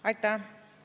Aitäh!